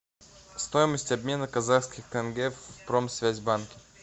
стоимость обмена казахских тенге в промсвязьбанке